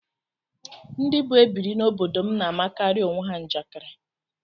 Ndị bụ ebiri n'obodo m na-amakarị onwe ha njakịrị